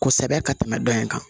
Kosɛbɛ ka tɛmɛ dɔ in kan